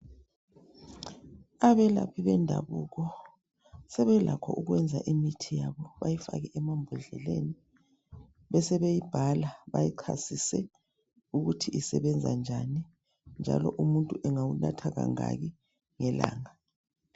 Abelaphi bendabuko sebelakho ukwenza imithi yabo bayifake emambodleleni besebeyi bhala bayichasise ukuthi isebenza njani njalo umuntu engawunatha kangaki ngelanga.